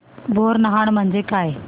बोरनहाण म्हणजे काय